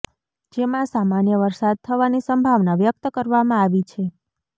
જેમાં સામાન્ય વરસાદ થવાની સંભાવના વ્યક્ત કરવામાં આવી છે